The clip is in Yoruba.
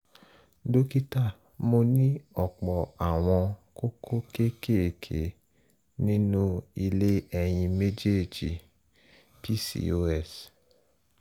dókítà mo ní ọ̀pọ̀ àwọn kókó kéékèèké nínú ilé ẹyin méjèèjì (pcos)